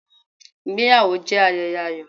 Ìgbéyàwó jẹ́ ayẹyẹ ayọ̀.